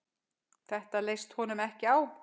Þetta leist honum ekki á.